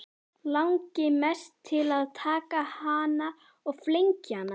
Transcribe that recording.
Langi mest til að taka hana og flengja hana.